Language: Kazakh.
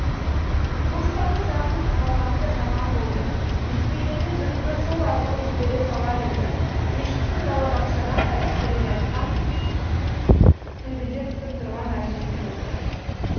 поштаның жабылып қалғаны да жаман болды өйтпегенде дүрбіні сол арқылы жібере салар еді кешкісін балабақшадан қайтып келе жатып төбеде күтіп тұрған әжесін көрді